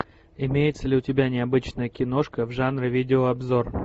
имеется ли у тебя необычная киношка в жанре видео обзор